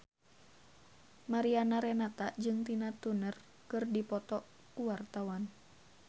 Mariana Renata jeung Tina Turner keur dipoto ku wartawan